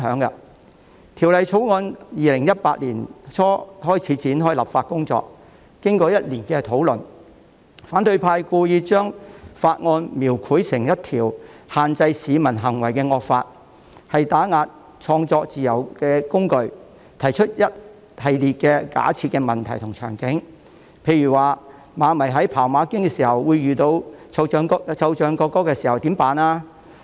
當局在2018年年初展開《條例草案》的立法工作，經過1年的討論，反對派故意將《條例草案》描繪成一項限制市民行為的惡法，是打壓創作自由的工具，更提出一系列假設問題和場景，例如馬迷看馬經的時候遇到奏唱國歌，應該怎麼辦呢？